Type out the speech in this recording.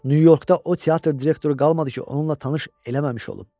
Nyu-Yorkda o teatr direktoru qalmadı ki, onunla tanış eləməmiş olum.